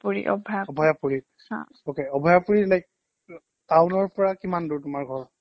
Abhayapuri okay Abhayapuri like town ৰ পৰা কিমান দূৰ তোমাৰ ঘৰ